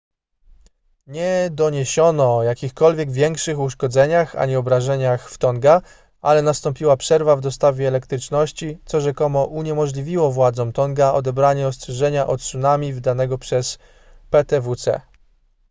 nie doniesiono o jakichkolwiek większych uszkodzeniach ani obrażeniach w tonga ale nastąpiła przerwa w dostawie elektryczności co rzekomo uniemożliwiło władzom tonga odebranie ostrzeżenia o tsunami wydanego przez ptwc